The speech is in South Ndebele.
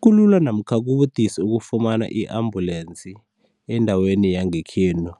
Kulula namkha kubudisi ukufumana i-ambulensi endaweni yangekhenu